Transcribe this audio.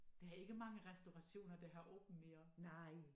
Der er ikke mange restaurationer der har åbent mere